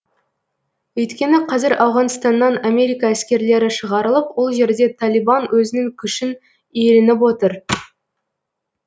өйткені қазір ауғанстаннан америка әскерлері шығарылып ол жерде талибан өзінің күшін иеленіп отыр